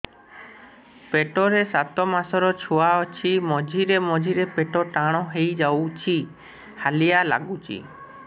ପେଟ ରେ ସାତମାସର ଛୁଆ ଅଛି ମଝିରେ ମଝିରେ ପେଟ ଟାଣ ହେଇଯାଉଚି ହାଲିଆ ଲାଗୁଚି